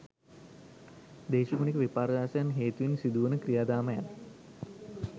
දේශගුණික විපර්යාසයන් හේතුවෙන් සිදු වන ක්‍රියාදාමයන්